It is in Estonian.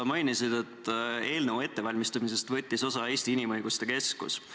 Sa mainisid, et eelnõu ettevalmistamisest võttis osa Eesti Inimõiguste Keskus.